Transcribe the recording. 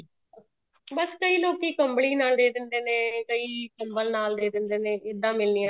ਬੱਸ ਕਈ ਲੋਕੀ ਕੰਬਲੀ ਨਾਲ ਦੇ ਦਿੰਦੇ ਨੇ ਕਈ ਕੰਬਲ ਨਾਲ ਦੇ ਦਿੰਦੇ ਨੇ ਇੱਦਾਂ ਮਿਲਣੀਆਂ